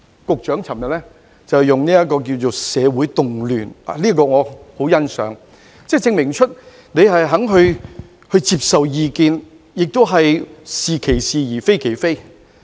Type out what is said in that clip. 局長昨天說是"社會動亂"，我對此十分欣賞，證明他願意接受意見，"是其是，非其非"。